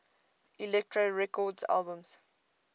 elektra records albums